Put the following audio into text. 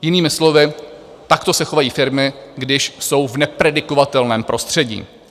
Jinými slovy, takto se chovají firmy, když jsou v nepredikovatelném prostředí.